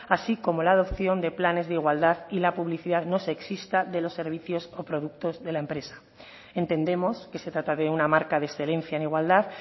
así como la adopción de planes de igualdad y la publicidad no sexista de los servicios o productos de la empresa entendemos que se trata de una marca de excelencia en igualdad